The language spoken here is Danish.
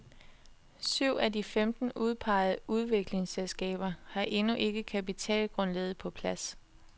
Syv af de femten udpegede udviklingsselskaber har endnu ikke kapitalgrundlaget på plads.